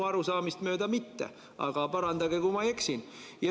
Minu arusaamist mööda mitte, aga parandage, kui ma eksin.